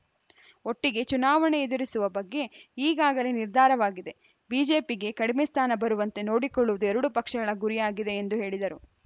ಒಟ್ಟಿಗೆ ಚುನಾವಣೆ ಎದುರಿಸುವ ಬಗ್ಗೆ ಈಗಾಗಲೇ ನಿರ್ಧಾರವಾಗಿದೆ ಬಿಜೆಪಿಗೆ ಕಡಿಮೆ ಸ್ಥಾನ ಬರುವಂತೆ ನೋಡಿಕೊಳ್ಳುವುದು ಎರಡೂ ಪಕ್ಷಗಳ ಗುರಿಯಾಗಿದೆ ಎಂದು ಹೇಳಿದರು